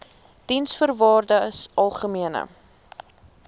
diensvoorwaardesalgemene